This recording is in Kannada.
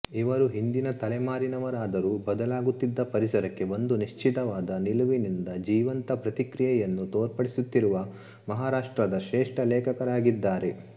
ಇವರು ಹಿಂದಿನ ತಲೆಮಾರಿನವರಾದರೂ ಬದಲಾಗುತ್ತಿದ್ದ ಪರಿಸರಕ್ಕೆ ಒಂದು ನಿಶ್ಚಿತವಾದ ನಿಲುವಿನಿಂದ ಜೀವಂತ ಪ್ರತಿಕ್ರಿಯೆಯನ್ನು ತೋರ್ಪಡಿಸುತ್ತಿರುವ ಮಹಾರಾಷ್ಟ್ರದ ಶ್ರೇಷ್ಠ ಲೇಖಕರಾಗಿದ್ದಾರೆ